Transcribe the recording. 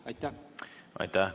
Aitäh!